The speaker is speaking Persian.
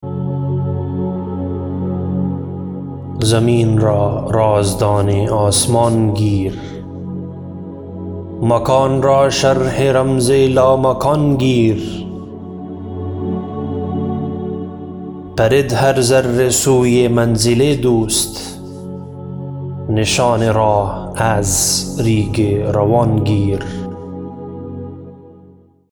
زمین را رازدان آسمان گیر مکان را شرح رمز لامکان گیر پرد هر ذره سوی منزل دوست نشان راه از ریگ روان گیر